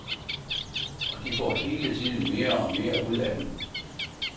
Og de får hele tiden mere og mere ud af den.